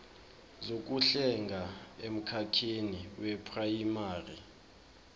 zokuhlenga emkhakheni weprayimari